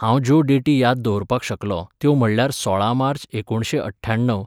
हांव ज्यो डेटी याद दवरपाक शकलों त्यो म्हणल्यार सोळा मार्च एकोणशें अठ्याण्णव,